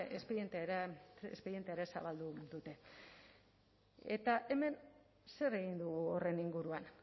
espedientea ere zabaldu dute eta hemen zer egin du horren inguruan